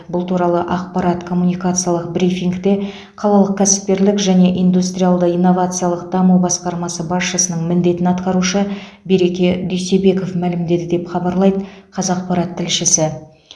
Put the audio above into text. бұл туралы ақпараттық коммуникациялық брифингте қалалық кәсіпкерлік және индустриалды инновациялық даму басқармасы басшысының міндетін атқарушы береке дүйсебеков мәлімдеді деп хабарлайды қазақпарат тілшісі